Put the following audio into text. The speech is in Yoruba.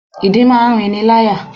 Ìdin máa ń rinniláyà.